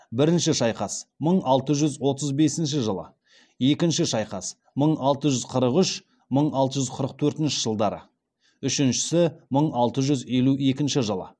бірінші шайқас мың алты жүз отыз бесінші жылы екінші шайқас мың алты жүз қырық үш мың алты жүз қырық төртінші жылдары үшіншісі мың алты жүз елу екінші жылы